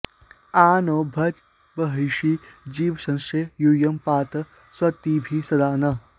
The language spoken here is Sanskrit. आ नो भज बर्हिषि जीवशंसे यूयं पात स्वस्तिभिः सदा नः